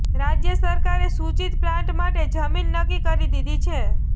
રાજ્ય સરકારે સૂચિત પ્લાન્ટ માટે જમીન નક્કી કરી દીધી છે